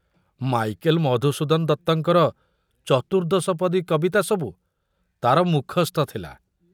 Michael Madhusudan ଦତ୍ତଙ୍କର ଚତୁର୍ଦ୍ଦଶପଦୀ କବିତା ସବୁ ତାର ମୁଖସ୍ଥ ଥୁଲା।